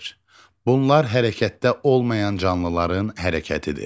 Bunlar hərəkətdə olmayan canlıların hərəkətidir.